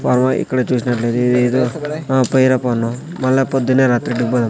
బాబోయ్ ఇక్కడ చూసినట్లయితే ఇదేదో ఆ పోయిరా పన్ను మల్ల పొద్దునే రాత్రికి పొదాం.